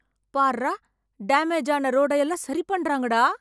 பார்றா, டேமேஜ் ஆன ரோடை எல்லாம் சரி பன்றாங்கடா.